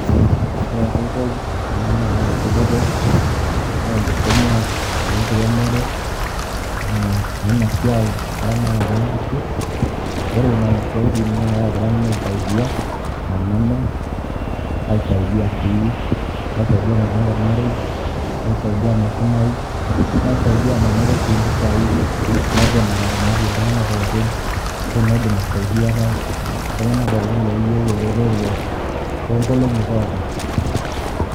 ore enkoitoi nanu nayaki dupoto naa enkisuma wenkiremore eh, wena siai eramatare onkishu ore nana siaitin naa kagira nanu aisaidia aa nanu kaisaidia sii, kaisaidia maibung'a olmarei naisaidia maisumayu naisaidia manoto sii impisai naidim ataramatie iltung'anak pokin ashu naidim aisaidiare iltung'anak pookin loyieu eretoto tonkolong'i pookin.